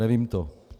Nevím to.